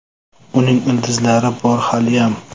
Uning ildizlari bor haliyam.